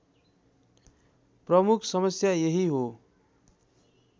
प्रमुख समस्या यही हो